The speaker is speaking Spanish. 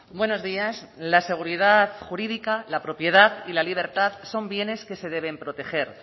buenos días la seguridad jurídica la propiedad y la libertad son bienes que se deben proteger